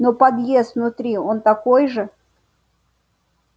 но подъезд внутри он такой же